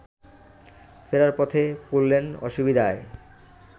ফেরার পথে পড়লেন অসুবিধায়